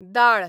दाळ